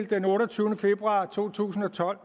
den otteogtyvende februar to tusind og tolv